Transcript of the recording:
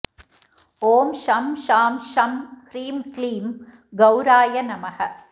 ॐ शं शां षं ह्रीं क्लीं गौराय नमः